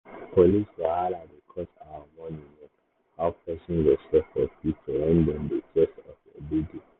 police wahala dey cut our money neck how person go save for future when dem dey chase us everyday.